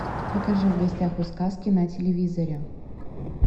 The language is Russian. покажи в гостях у сказки на телевизоре